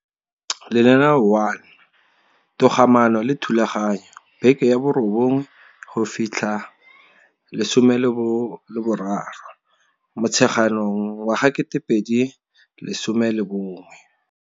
Lenaneo 1. Togamaano le Thulaganyo, beke 9 13 Motsheganong wa ga 2011.